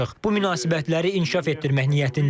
Bu münasibətləri inkişaf etdirmək niyyətindəyik.